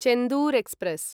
Chendur express